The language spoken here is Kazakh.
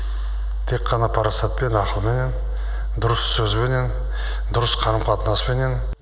тек қана парасатпен ақылменен дұрыс сөзбенен дұрыс қарым қатынаспенен